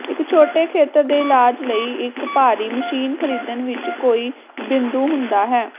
ਇੱਕ ਛੋਟੇ ਖੇਤਰ ਦੇ ਇਲਾਜ ਲਈ ਇੱਕ ਭਾਰੀ ਮਸ਼ੀਨ ਖਰੀਦਣ ਵਿੱਚ ਕੋਈ ਬਿੰਦੂ ਹੁੰਦਾ ਹੈ